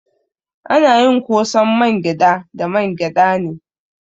Ana yin ƙosan mangyada da mangyada ne.